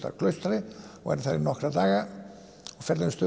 að Klaustri og verð þar í nokkra daga og ferðumst